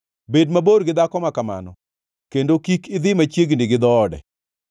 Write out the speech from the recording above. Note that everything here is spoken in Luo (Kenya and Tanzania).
Bed mabor gi dhako ma kamano, kendo kik idhi machiegni gi dhoode,